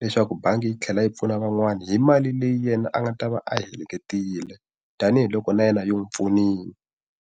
leswaku bangi yi tlhela yi pfuna van'wani hi mali leyi yena a nga ta va a yi heleketile, tanihiloko na yena yi n'wi pfunile.